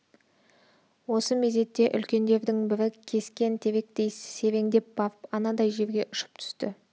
осы мезетте үлкендердің бірі кескен теректей сереңдеп барып анадай жерге ұшып түсті